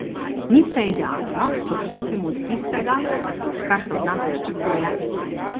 Ni vse idealno, če odstopimo od tistega, kar se od nas pričakuje.